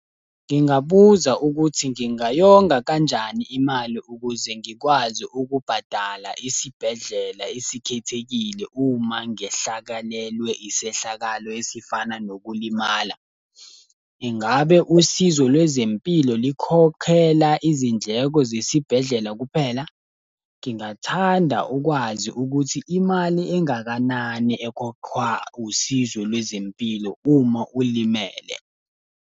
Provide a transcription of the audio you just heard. Ngingabuza ukuthi ngingayonga kanjani imali ukuze ngikwazi ukubhadala isibhedlela esikhethekile uma ngehlakalelwe isehlakalo esifana nokulimala. Ingabe usizo lwezempilo likhokhela izindleko zesibhedlela kuphela? Ngingathanda ukwazi ukuthi imali engakanani ekhokhwa usizo lwezempilo uma ulimele?